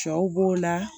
Sɔ b'o la